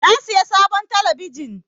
Na saya sabon talabijin.